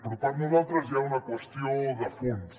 però per nosaltres hi ha una qüestió de fons